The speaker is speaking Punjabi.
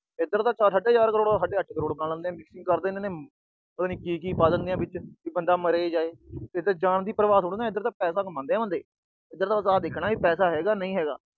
ਇਧਰ ਤਾਂ ਸਾਢੇ ਚਾਰ ਕਰੋੜ ਦਾ ਸਾਢੇ ਅੱਠ ਕਰੋੜ ਬਣਾ ਲੈਂਦੇ ਨੇ। ਪਤਾ ਨੀ ਕੀ-ਕੀ ਪਾ ਦਿੰਦੇ ਆ ਵਿੱਚ, ਵੀ ਬੰਦਾ ਮਰੇ-ਜਾਏ। ਇਧਰ ਜਾਨ ਦੀ ਪਰਵਾਹ ਥੋੜੀ ਆ, ਇਧਰ ਤਾਂ ਪੈਸੇ ਕਮਾਉਂਦੇ ਆ ਬੰਦੇ। ਇਧਰ ਤਾਂ ਬਸ ਆ ਦੇਖਣਾ ਕਿ ਪੈਸਾ ਹੈਗਾ, ਨਹੀਂ ਹੈਗਾ।